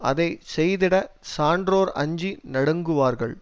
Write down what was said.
அதனை செய்திடச் சான்றோர் அஞ்சி நடுங்குவார்கள்